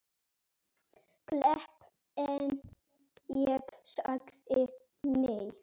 Klepp en ég sagði nei.